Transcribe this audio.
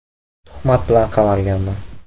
Tuhmat bilan qamalganman.